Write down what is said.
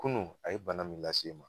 Kunun a ye bana min lase n ma